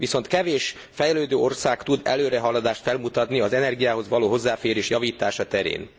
Viszont kevés fejlődő ország tud előrehaladást felmutatni az energiához való hozzáférés javítása terén.